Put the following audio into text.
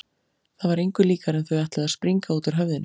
Það var engu líkara en þau ætluðu að springa út úr höfðinu.